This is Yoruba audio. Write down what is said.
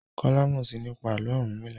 Kola mọ sii nípa Àló̩ Orunmila.